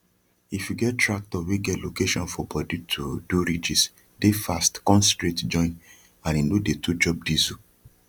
if you get tractor wey get location for bodyto do ridges dey fast con straight join and e no dey too chop diesel